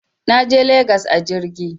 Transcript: Naje legas a jirgi